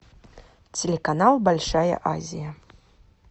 телеканал большая азия